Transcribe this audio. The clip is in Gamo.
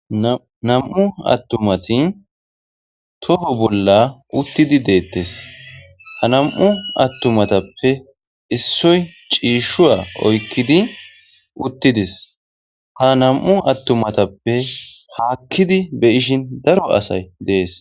nam7u attumati toho bolla uttidi deettes ha nam7u attumatappe issoy ciishshuwa oykkidi uttidis ha nam7u attumatappe haakkidi be ishin daro asay dees